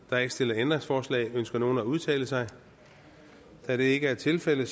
er ikke stillet ændringsforslag ønsker nogen at udtale sig da det ikke er tilfældet